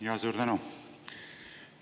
Jaa, suur tänu!